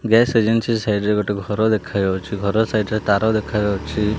Gas agency site ରେ ଗୋଟେ ଘର ଦେଖାଯାଉଛି ଘର ସାଇଟ ତାର ଦେଖାଯାଉଛି।